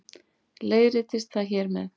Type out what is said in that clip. Leiðréttist það hér með